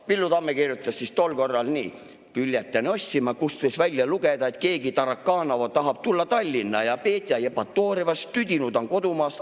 Villu Tamme kirjutas tol korral nii: "Bülletääni ostsin ma, kust võis välja lugeda, et keegi Tarakanova tahab tulla Tallinna ja Petja Jevpatooriast tüdinud on kodumaast.